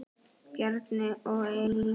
Bjarni og Elín.